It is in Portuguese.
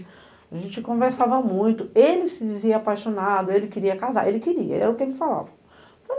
A gente conversava muito, ele se dizia apaixonado, ele queria casar, ele queria, era o que ele falava.